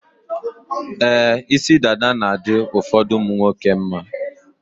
Ee, isi dada na-adị ụfọdụ ụmụnwoke mma.